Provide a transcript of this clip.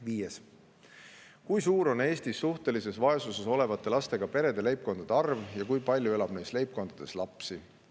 Viies küsimus: "Kui suur on Eestis suhtelises vaesuse olevate lastega perede leibkondade arv ja kui palju elab neis leibkondades lapsi?